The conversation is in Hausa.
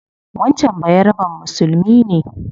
Wancan bayaraben musulmi ne